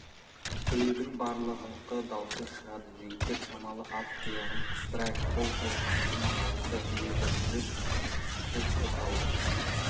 біреудің барлығыңқы даусы шығады жігіттер шамалы ат тұяғын қыздырайық бұл жылқаманның дауысы еді жұрт дүрк қозғалды